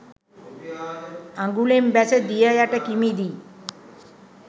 අගුලෙන් බැස දිය යට කිමිදී